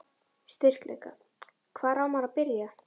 Styrkleikar: Hvar á maður að byrja?